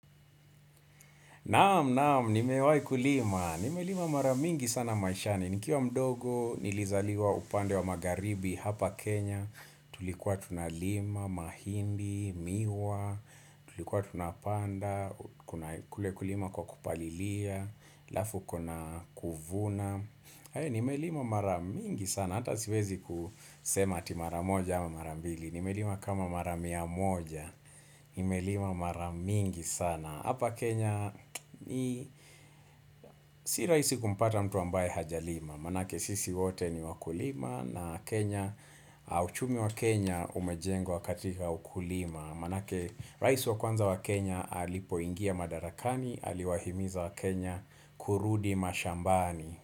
Naam naam nimewahi kulima Nime lima maramingi sana maishani Nikiwa mdogo nilizaliwa upande wa magharibi hapa Kenya Tulikuwa tunalima mahindi miwa Tulikuwa tunapanda kule kulima kwa kupalilia alafu kuna kuvuna Nime lima maramingi sana Hata siwezi kusema ati maramoja ama marambili Nime lima kama mara mia moja Nime lima maramingi sana Hapa Kenya ni si rahisi kumpata mtu ambaye hajalima, maanake sisi wote ni wakulima na Kenya, uchumi wa Kenya umejengwa katika ukulima, maanake rais wa kwanza wa Kenya alipo ingia madarakani, aliwahimiza wa Kenya kurudi mashambani.